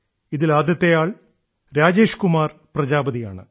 ഇതിൽ ആദ്യത്തെയാൾ രാജേഷ് കുമാർ പ്രജാപതിയാണ്